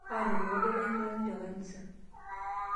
Aatomonoko duo olairitani tekanisa.